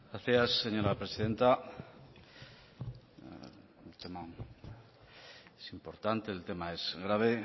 gracias señora presidenta el tema es importante el tema es grave